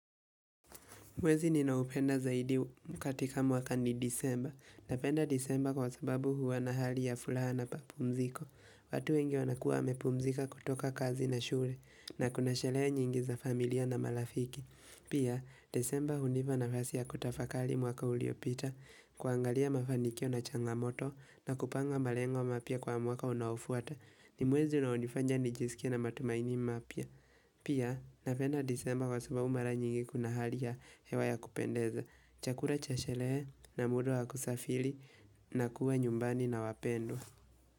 Mwezi ninaupenda zaidi mkatika waka ni disemba napenda disemba kwa sababu huwa na hali ya fulaha na papumziko. Watu wengi wanakua wamepumzika kutoka kazi na shule na kuna sherehe nyingi za familia na malafiki. Pia, disemba huniva nafasi ya kutafakali mwaka uliopita, kuangalia mafanikio na changamoto na kupanga malengo mapya kwa mwaka unaofuata ni mwezi na unifanya nijisikie na matumaini mapya. Pia, napenda disemba kwa sababu mara nyingi kuna hali ya hewa ya kupendeza. Chakula chashele na muda wakusafili na kuwa nyumbani na wapendwa.